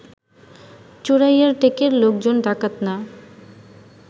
চোরাইয়ার টেকের লোকজন ডাকাত না